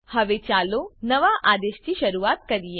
હવે ચાલો નવા આદેશથી શરૂઆત કરીએ